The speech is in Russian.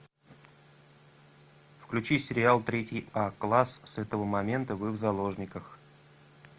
включи сериал третий а класс с этого момента вы в заложниках